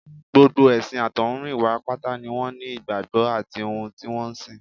Gbogbo ẹ̀sìn àtọ̀húnrìnwá pátá ni wọ́n ní ìgbàgbọ́ àti ohun tí wọ́n ń sìn